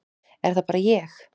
Er það bara ég.